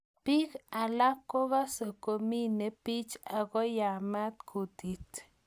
Biik alak kokase kominee biich akoyamat kutit